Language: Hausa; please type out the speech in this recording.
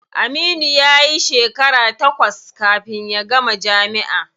Aminu yayi shekara takwas kafin ya gama jami'a.